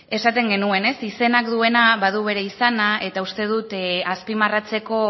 esaten genuen izenak duena badu bere izana eta uste dut azpimarratzeko